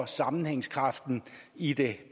sammenhængskraften i det